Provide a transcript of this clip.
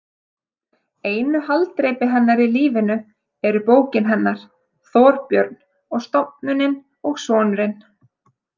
Einu haldreipi hennar í lífinu eru bókin hennar, Þorbjörn, stofnunin og sonurinn.